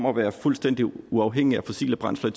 at være fuldstændig uafhængig af fossile brændsler